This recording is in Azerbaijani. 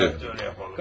Hə, elə yapalım.